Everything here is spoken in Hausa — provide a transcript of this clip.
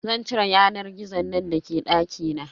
Zan cire yanar gizon nan da ke dakina.